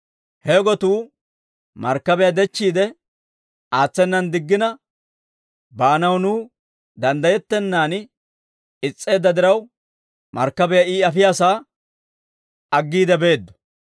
He gotuu markkabiyaa dechchiide aatsenan diggina, baanaw nuw danddayettennan is's'eedda diraw, markkabiyaa I afiyaasaa aggiide beeddo.